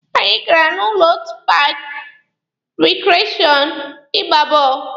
Anyị gara na otu paaki rikreshọn ịgba bọọlụ.